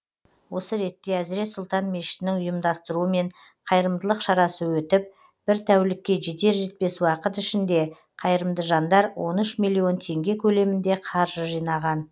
осы ретте әзірет сұлтан мешітінің ұйымдастыруымен қайырымдылық шарасы өтіп бір тәулікке жетер жетпес уақыт ішінде қайырымды жандар он үш млн теңге көлемінде қаржы жинаған